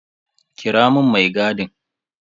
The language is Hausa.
Kira mun mai gadin.